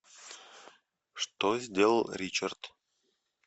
что сделал ричард